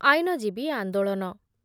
ଆଇନଜୀବୀ ଆନ୍ଦୋଳନ